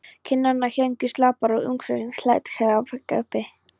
Kinnarnar héngu slapar og augnsvipurinn lét ekkert uppi.